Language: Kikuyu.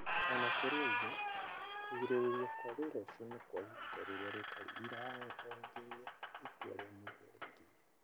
O na kũrĩ ũguo, kũgirĩrĩrio kwa wĩra ũcio nĩ kwa ihinda rĩrĩa rĩtarĩ iraaya o nginya itua rĩa mũthia rĩkinye.